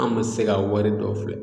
An ma se ka wari dɔw filɛ